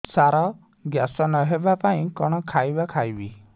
ସାର gas ନ ହେବା ପାଇଁ କଣ ଖାଇବା ଖାଇବି